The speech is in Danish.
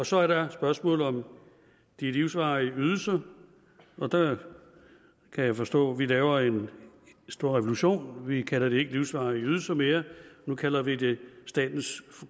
så er der spørgsmålet om de livsvarige ydelser og der kan jeg forstå at vi laver en stor revolution vi kalder det ikke livsvarige ydelser mere nu kalder vi det statens